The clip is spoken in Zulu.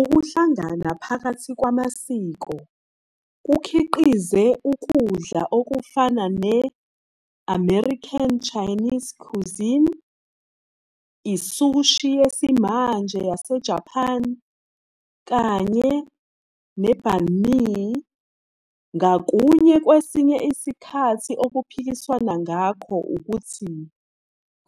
Ukuhlangana phakathi kwamasiko kukhiqize ukudla okufana ne -American Chinese cuisine, i-sushi yesimanje yaseJapani, kanye ne -bánh mì, ngakunye kwesinye isikhathi okuphikiswana ngakho ukuthi